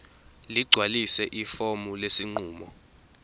ligcwalise ifomu lesinqumo